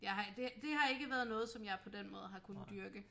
Jeg har det det har ikke været noget som jeg på den måde har kunne dyrke